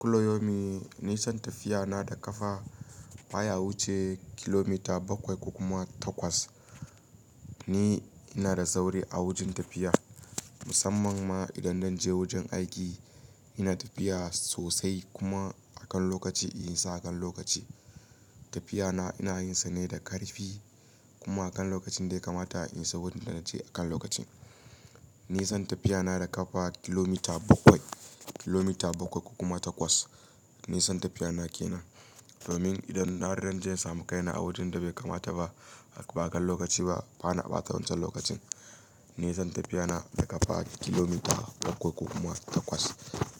Kulla yaumin ni san tafiya na da ƙafa baya wuce kilomita bakwai ko kuma takwas. Ni ina da sauri a wajen tafiya musamman ma idan dan je wajen aiki ina tafiya sosai kuma akan lokaci in isa akan lokaci. Tafiya na ina yin sa ne da ƙarfi kuma akan lokacin da ya kamata in isa wurin da naje akan lokaci. Nisan tafiya na da kafa kilomita bakwai, kilomita bakwai ko kuma takwas nisan tafiya na kenan domin idan na ran je samu kaina a wajen da bai kamata ba a kan lokaci ba bana ɓata wancan lokacin. Ni san tafiya na da ƙafa kilomita bakwai ko kuma takwas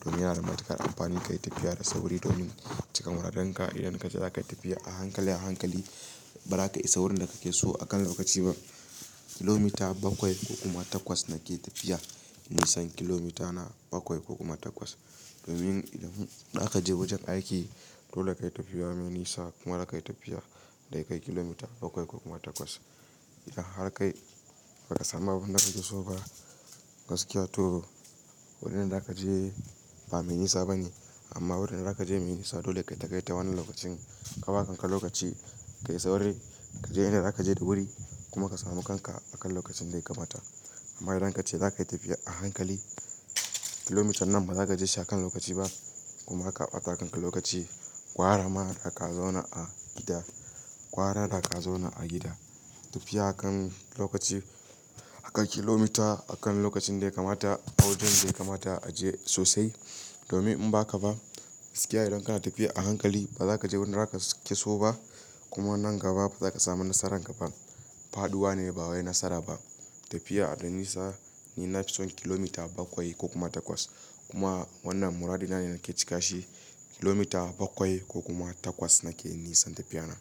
domin yana da matuƙar amfani ka yi tafiya da sauri domin cika muradenka idan ka ji za ka yi tafiya a hankali a hankali ba za ka isa wurin da kake so akan lokaci ba. Kilomita bakwai ko kuma takwas nake tafiya. Nisan kilomita na bakwai ko kuma takwas domin idan aka je wajen aiki dole ka yi tafiya mai nisa kuma da ka yi tafiya da kai kilomita bakwai ko kuma takwas. Idan har kai ba ka samu abin da kake so ba gaskiya to wurin da za ka je ba me nisa bane amma wurin da za ka je me nisa dole ka yi ka kai ta wannan lokacin. Kawa kanka lokaci ka yi sauri ka je inda za ka je da wuri kuma ka samu kanka akan lokacin da ya kamata. Amma idan ka ce za ka yi tafiya a hankali kilomitan nan ba za ka je shi akan lokaci ba kuma haka ɓata kanka lokaci. Gwara ma da ka zauna a gida, gwara da ka zauna a gida tafiya akan lokaci akan kilomita akan lokacin da ya kamata a wajen da ya kamata a je sosai domin in ba haka ba gaskiya idan kana tafiya a hankali ba za ka je wurin da zaka ke so ba kuma nan gaba ba za ka samu nasaran kaba. Faɗuwa ne ba wai nasara ba. Tafiya da nisa ni nafison kilomita bakwai ko kuma takwas kuma wannan muradi na ne nake cika shi. Kilomita bakwai ko kuma takwas nake nisan tafiya na.